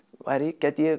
gæti ég